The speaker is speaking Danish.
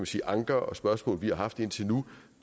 sige anker og spørgsmål vi har haft indtil nu